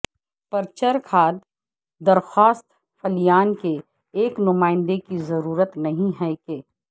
پرچر کھاد درخواست فلیان کے ایک نمائندے کی ضرورت نہیں ہے کہ